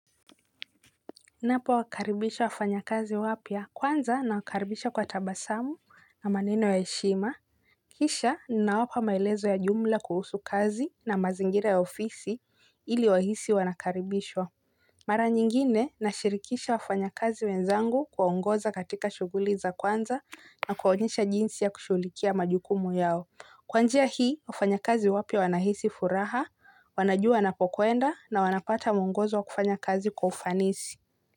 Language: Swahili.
Ninapo wakaribisha wafanya kazi wapya kwanza nawakaribisha kwa tabasamu na maneno ya heshima. Kisha ninawapa maelezo ya jumla kuhusu kazi na mazingira ya ofisi ili wahisi wanakaribishwa. Mara nyingine nashirikisha wafanyakazi wenzangu kuwaongoza katika shughuli za kwanza na kuwaonyesha jinsi ya kushughulikia majukumu yao. Kwa njia hii wafanyakazi wapya wanahisi furaha wanajua wanapokuenda na wanapata muongozo wa kufanya kazi kwa ufanisi.